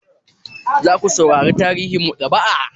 Za ku saurara tarihin maɗaba'a?